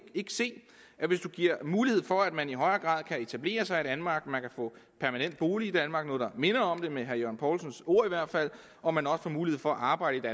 se at mulighed for at man i højere grad kan etablere sig i danmark man kan få permanent bolig i danmark eller noget der minder om det med herre jørgen poulsens ord i hvert fald og man også får mulighed for at arbejde